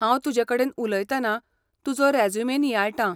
हांव तुजे कडेन उलयतना तुजो रेज्युमे नियाळटां.